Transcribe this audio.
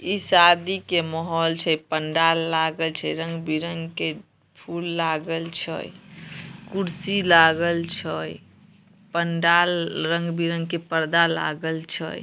ई शादी के माहोल छै पंडाल लागल छै रंग बिरंग के फूल लागल छै कुर्सी लागल छै पंडाल रंग बिरंग के पर्दा लागल छै।